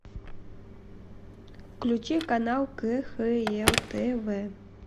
включи канал кхл тв